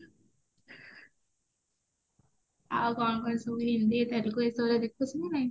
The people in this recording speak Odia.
ଆଉ କଣ କଣ ଯୋଉ ହିନ୍ଦୀ ତେଲଗୁ ଏଇସବୁ ଗୁରା ଦେଖୁଚୁ ନା ନାହିଁ